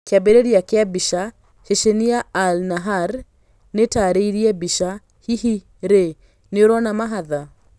Kĩambĩrĩria kĩa mbica, Ceceni ya AI-NAHAR, nĩtarĩirie mbica, hihi rĩ nĩũrona mahatha